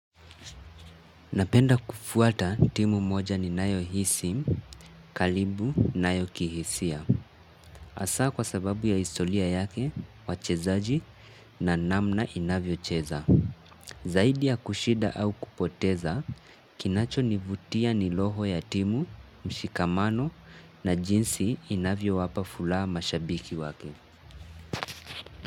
Napenda kufuata timu moja ninayohisi karibu nayo kihisia. Hasa kwa sababu ya historia yake, wachezaji na namna inavyocheza. Zaidi ya kushinda au kupoteza, kinachonivutia ni roho ya timu, mshikamano na jinsi inavyowapa furaha mashabiki wake.